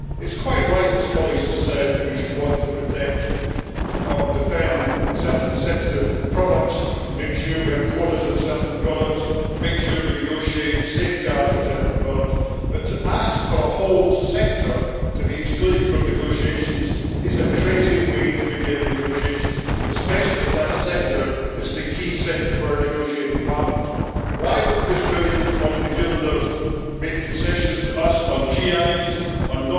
It is quite right, as colleagues have said, that we should want to defend certain sensitive products, make sure we have quotas on certain products, and make sure we negotiate safeguards for certain products, but to ask for a whole sector to be excluded from negotiations is a crazy way to begin negotiations, especially if that sector is the key sector for our negotiating partners. Why would the Australians or the New Zealanders make concessions to us on GIs, on